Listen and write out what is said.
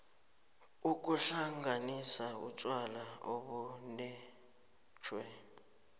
ukuhlanganisa utjwala obulethwe